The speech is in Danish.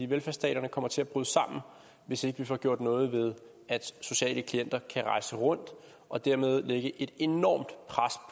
velfærdsstaterne kommer til at bryde sammen hvis ikke vi får gjort noget ved at sociale klienter kan rejse rundt og dermed lægge et enormt pres